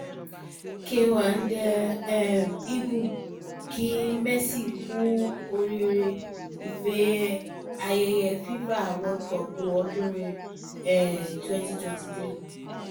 k one de um eagle kí messi kú oríire ife ayẹyẹ fifa world cup ọdún um twenty twenty three